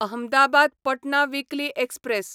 Ahmedabad Patna weekly express